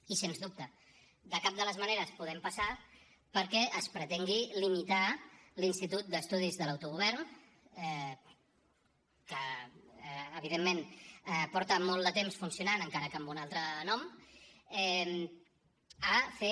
i sens dubte de cap de les maneres podem passar perquè es pretengui limitar l’institut d’estudis de l’autogovern que evidentment fa molt de temps que funciona encara que amb un altre nom de fer